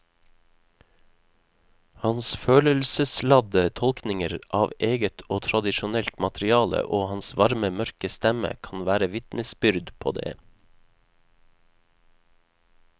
Hans følelsesladde tolkninger av eget og tradisjonelt materiale og hans varme mørke stemme kan være vitnesbyrd på det.